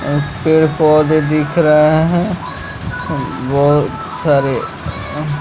एह पेड़-पौधे दिख रहे हैं हुं बहुत सारे एंह --